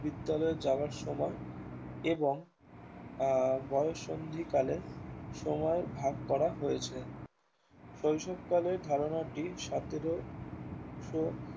বিদ্যালয়ে যাওয়ার সময় এবং আহ বয়ঃসন্ধি কালের সময় ভাগ করা হয়েছে শৈশবকালের ধারণাটি সতেরো সো